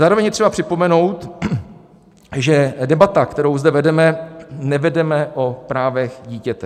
Zároveň je třeba připomenout, že debatu, kterou zde vedeme, nevedeme o právech dítěte.